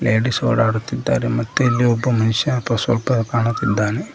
Ladies ಓಡಾಡುತ್ತಿದ್ದಾರೆ ಮತ್ತು ಇಲ್ಲಿ ಒಬ್ಬ ಮನುಷ್ಯ ಅಥವಾ ಸ್ವಲ್ಪ ಕಾಣುತ್ತಿದ್ದಾನೆ.